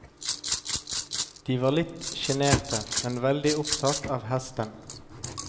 De var litt sjenerte, men veldig opptatt av hesten.